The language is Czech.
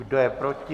Kdo je proti?